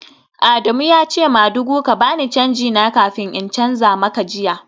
Adamu ya ce madugu ka ba ni canji na kafin in canza maka jiya